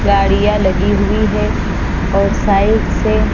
गाड़िया लगी हुई है साइड से--